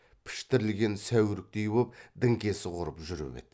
піштірілген сәуріктей боп діңкесі құрып жүріп еді